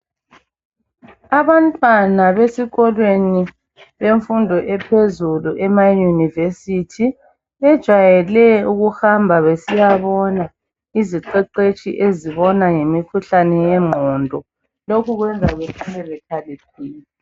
Abantwana besikolweni semfundo ephezulu emauniversity bejayele ukuhamba besiyabona iziqeqetshi ezibona ngemikhuhlane ye ngqondo .Lokhu kwenza behlale bekhaliphile.